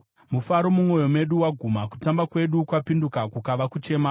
Mufaro mumwoyo medu waguma; kutamba kwedu kwapinduka kukava kuchema.